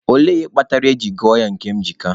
Olee ihe kpatara e jiri gụọ ya Nkemjika?